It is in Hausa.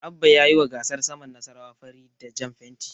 Abba ya yiwa gasar saman Nasarawa fari da jan fenti.